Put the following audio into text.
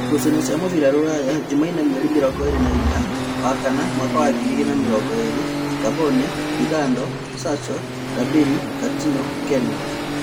Ngucanio cia mũbira Ruraya Jumaine mweri mĩrongoĩrĩ na-inyanya wa-kana mwaka ngiri igĩrĩ na mĩrongoĩrĩ: Ngamboni, Lingado, Sasho, Ndambĩri, Katino, Keni